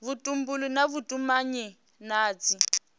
vhutumbuli na vhutumanyi na dzi